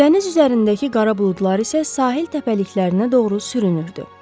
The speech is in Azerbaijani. Dəniz üzərindəki qara buludlar isə sahil təpəliklərinə doğru sürünürdü.